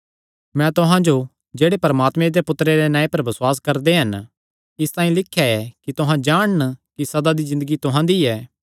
मैं तुहां जो जेह्ड़े परमात्मे दे पुत्तरे दे नांऐ पर बसुआस करदे हन इसतांई लिख्या ऐ कि तुहां जाणन कि सदा दी ज़िन्दगी तुहां दी ऐ